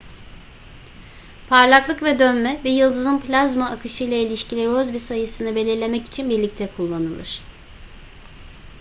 parlaklık ve dönme bir yıldızın plazma akışıyla ilişkili rossby sayısını belirlemek için birlikte kullanılır